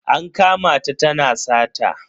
An kama ta tana sata.